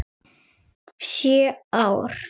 Sjö ár?